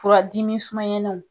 Fura dimi sumayananw.